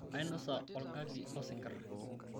ainosa olgali osingirr